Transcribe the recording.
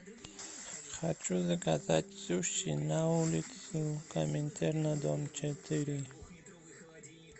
хочу заказать суши на улицу коминтерна дом четыре